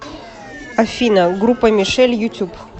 афина группа мишель ютюб